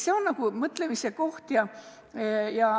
See on mõtlemise koht.